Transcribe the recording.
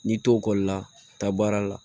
N'i to ekɔli la taa baara la